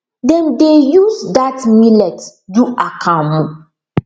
dem dey use that millet do akamu